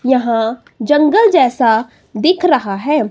यहां जंगल जैसा दिख रहा हैं।